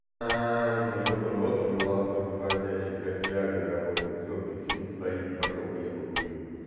вот он вот он вот он голосок заводящий как виагра работает всё писюн стоит пошёл-ка я покурю